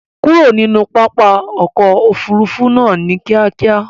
Kurò ní pápá òkò òfúrùfú náà ní kìákíá!